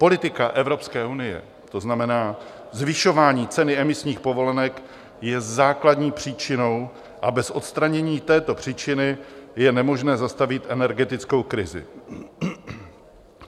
Politika Evropské unie, to znamená zvyšování ceny emisních povolenek, je základní příčinou a bez odstranění této příčiny je nemožné zastavit energetickou krizi.